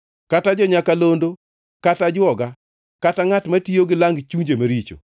kata jo-nyakalondo kata ajwoga kata ngʼat matiyo gi lang chunje maricho.